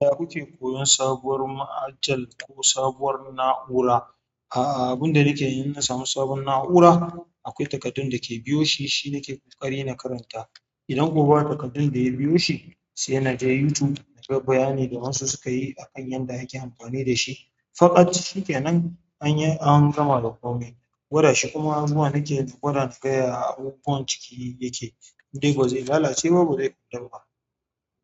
Da kuke koyon sabuwar ma'ajal ko sabuwar na'ura, a'a abun da nake yi idan na samu sabon na'ura, akwai takaddun da ke biyo shi, shi na ke ƙoƙari na karanta. Idan kuwa ba takardu da ya biyo shi sai na je youtube in ga bayani da waɗansu suka yi akan yadda ake amfani da shi faƙat shi ke nan an yi an gama da komai, gwada shi kuma anjuma nake gwada na ga ya abubuwan ciki yake. In dai ko ba zai lalace ba zai ƙulla ba.